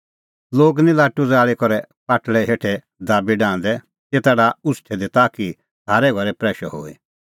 लोग निं लाटू ज़ाल़ी करै पाटल़ै हेठै दाबी डाहंदै तेता डाहा उछ़टै दी ताकि सारै घरै प्रैशअ होए